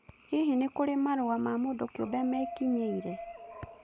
Hihi nĩ kũrĩ marũa ma mũndũ kĩũmbe mekinyĩire